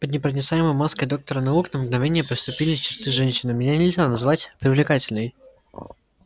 под непроницаемой маской доктора наук на мгновение проступили черты женщины меня нельзя назвать привлекательной